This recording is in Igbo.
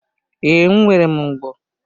Ee, nwere m ogbo.